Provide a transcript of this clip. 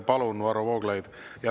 Palun, Varro Vooglaid!